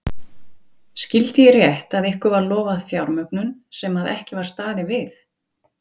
Ingimar: Skyldi ég rétt að ykkur var lofað fjármögnun sem að ekki var staðið við?